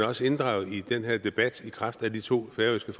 også inddraget i den her debat i kraft af de to færøske